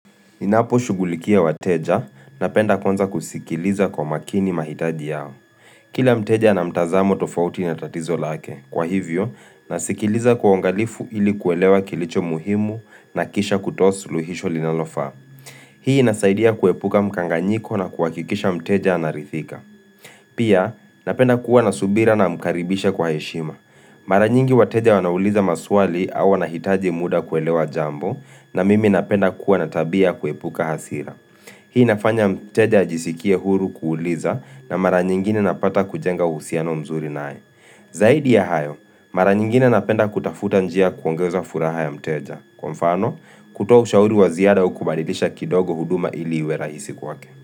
Ninapo shughulikia wateja, napenda kwanza kusikiliza kwamakini mahitaji yao. Kila mteja na mtazamo tofauti na tatizo lake, kwa hivyo, nasikiliza kwa uangalifu ili kuelewa kilicho muhimu na kisha kutoa suluhisho linalofaa. Hii inasaidia kuepuka mkanganyiko na kuhakikisha mteja anarithika. Pia, napenda kuwa na subira namkaribisha kwa heshima. Mara nyingi wateja wanauliza maswali au wanahitaji muda kuelewa jambo na mimi napenda kuwa na tabia kuepuka hasira Hii inafanya mteja ajisikie huru kuuliza na mara nyingine napata kujenga uhusiano mzuri naye Zaidi ya hayo, mara nyingine napenda kutafuta njia kuongeza furaha ya mteja Kwa mfano, kutoa ushauri wa ziada au kubadilisha kidogo huduma ili iwe rahisi kwake.